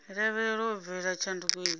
lavhelewa u bveledza tshanduko idzi